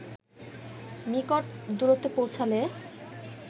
নিকট দূরত্বে পৌঁছালে